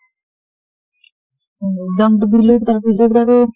exam তো দিলোঁ। তাৰ পিছত আৰু